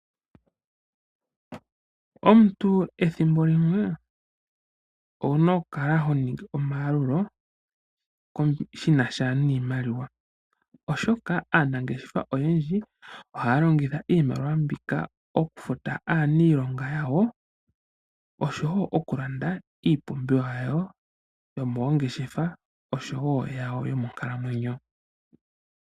Omuntu ethimbo limwe owu na okukala ho ningi omayalulo shi na sha niimaliwa, oshoka aanangeshefa oyendji ohaya longitha iimaliwa mbika okufuta aaniilonga noshowo okulanda iipumbiwa yawo yomoongeshefa oshowo yawo yomoonkalamwenyo.